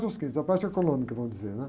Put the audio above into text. a parte é a parte econômica, vamos dizer, né?